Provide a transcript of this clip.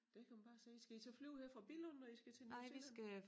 Der kan man bare se skal I så flyve her fra Billund når I skal til New Zealand?